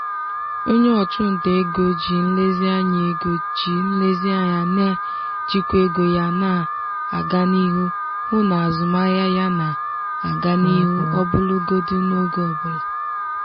onye ọchụnta ego ji nlezianya ego ji nlezianya na-ejikwa ego ya na-aga n'ihu hụ na azụmahịa ya na-aga n'ihu ọbụlagodi n'oge ọbụla.